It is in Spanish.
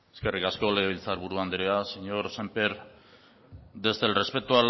eskerrik asko legebiltzar buru andrea señor sémper desde el respeto